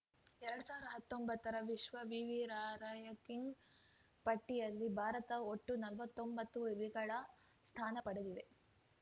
ಎರಡ್ ಸಾವಿರ್ದಾ ಹತ್ತೊಂಬತ್ತರ ವಿಶ್ವ ವಿವಿ ರಾರ‍ಯಂಕಿಂಗ್‌ ಪಟ್ಟಿಯಲ್ಲಿ ಭಾರತ ಒಟ್ಟು ನಲ್ವತ್ತೊಂಬತ್ತು ವಿವಿಗಳ ಸ್ಥಾನ ಪಡೆದಿವೆ